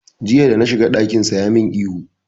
Jiya da na shiga ɗakinsa ya min ihu.